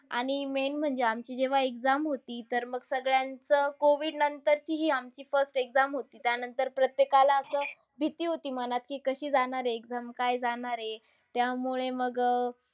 आणि main म्हणजे आमची जेव्हा exam होती, तर मग सगळ्यांचं COVID नंतरचीही आमची first exam होती. त्यानंतर प्रत्येकाला असं भीती होती मनात की कशी जाणार exam. काय जाणार? त्यामुळे मग अह